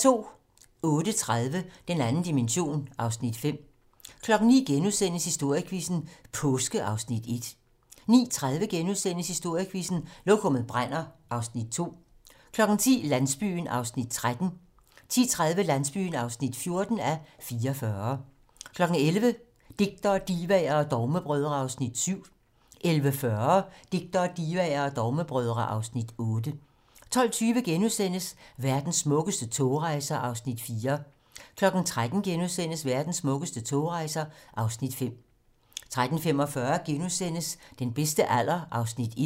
08:30: Den 2. dimension (Afs. 5) 09:00: Historiequizzen: Påske (Afs. 1)* 09:30: Historiequizzen: Lokummet brænder (Afs. 2)* 10:00: Landsbyen (13:44) 10:30: Landsbyen (14:44) 11:00: Digtere, divaer og dogmebrødre (Afs. 7) 11:40: Digtere, divaer og dogmebrødre (Afs. 8) 12:20: Verdens smukkeste togrejser (Afs. 4)* 13:00: Verdens smukkeste togrejser (Afs. 5)* 13:45: Den bedste alder (1:4)*